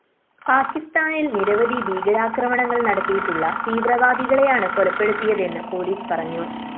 പാക്കിസ്ഥാനില്‍ നിരവധി ഭീകരാക്രമണങ്ങള്‍ നടത്തിയിട്ടുള്ള തീവ്രവാദികളെയാണ് കൊലപ്പെടുത്തിയതെന്ന് പോലീസ് പറഞ്ഞു